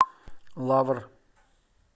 лавр